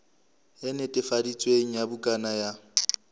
e netefaditsweng ya bukana ya